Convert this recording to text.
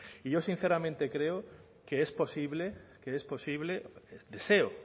y yo sinceramente creo que es posible deseo